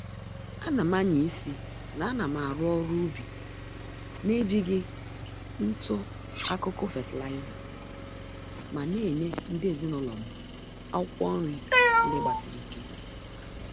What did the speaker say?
Ánám ányá-isi na anam arụ ọrụ ubi naejighị ntụ-akụkụ fertilizer, ma Nenye ndị ezinụlọm akwụkwụ nri ndị gbasiri ike